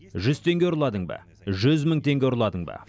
жүз теңге ұрладың ба жүз мың теңге ұрладың ба